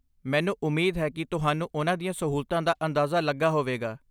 ਮੈਨੂੰ ਉਮੀਦ ਹੈ ਕਿ ਤੁਹਾਨੂੰ ਉਨ੍ਹਾਂ ਦੀਆਂ ਸਹੂਲਤਾਂ ਦਾ ਅੰਦਾਜ਼ਾ ਲੱਗਾ ਹੋਵੇਗਾ।